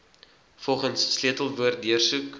volgens sleutelwoorde deursoek